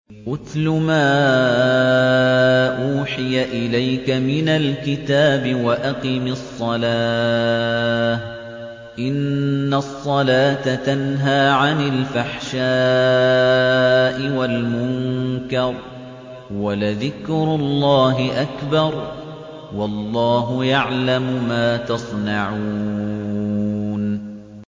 اتْلُ مَا أُوحِيَ إِلَيْكَ مِنَ الْكِتَابِ وَأَقِمِ الصَّلَاةَ ۖ إِنَّ الصَّلَاةَ تَنْهَىٰ عَنِ الْفَحْشَاءِ وَالْمُنكَرِ ۗ وَلَذِكْرُ اللَّهِ أَكْبَرُ ۗ وَاللَّهُ يَعْلَمُ مَا تَصْنَعُونَ